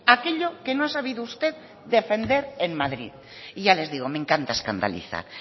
aquello que no ha sabido usted defender en madrid y ya les digo me encanta escandalizar